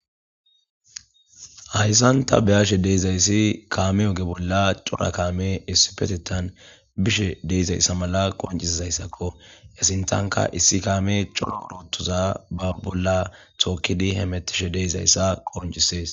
Hayisan ta beiishe dizayis kaame ooge bolla cora kaame issipetetan biishe deizayisa mala qoniccesizaysako hi sintaka issi kaame cora orotoza ba bolla tookid hemetishe dizaysa qoniccess.